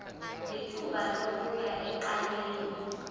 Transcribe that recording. lithuba lokuya ecaleni